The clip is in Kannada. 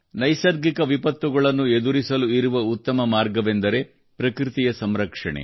ನೈಸರ್ಗಿಕ ವಿಪತ್ತುಗಳನ್ನು ಎದುರಿಸಲು ಇರುವ ಉತ್ತಮ ಮಾರ್ಗವೆಂದರೆ ಪ್ರಕೃತಿಯ ಸಂರಕ್ಷಣೆ